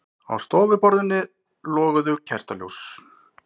Á stofuborðinu loguðu kertaljós.